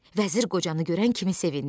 Vəzir qocanı görən kimi sevindi.